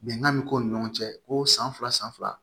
Bɛnkan bɛ k'u ni ɲɔgɔn cɛ ko san fila san fila